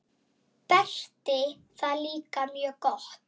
Berti það líka mjög gott.